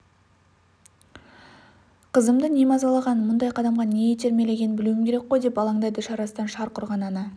қызымды не мазалағанын мұндай қадамға не итермелегенін білуім керек қой деп алаңдайды шарасыздан шарқ ұрған ана